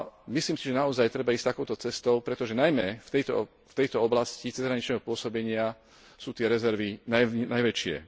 Myslím si, že naozaj treba ísť takouto cestou, pretože najmä v tejto oblasti cezhraničného pôsobenia sú tie rezervy najväčšie.